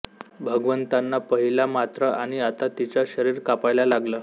भगवंतांना पहिला मात्र आणि आता तिचा शरीर कापायला लागलं